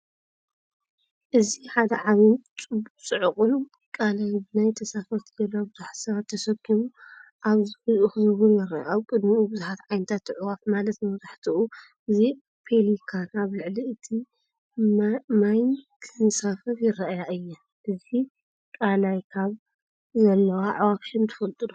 እዚ ሓደ ዓቢን ጽዑቕን ቀላይ ብናይ ተሳፈርቲ ጃልባ ብዙሓት ሰባት ተሰኪሙ ኣብ ዙርያኡ ክዘውር ይርአ። ኣብ ቅድሚኡ፡ብዙሓት ዓይነታት ኣዕዋፍ፡ማለት መብዛሕትኡ ግዜ ፔሊካን፡ ኣብ ልዕሊ እቲ ማይኺንሳፈፋ ይረኣያ እየን። ኣብዚ ቀላይካብ ዘለዋ ኣዕዋፍ ሽም ትፈልጡ ዶ?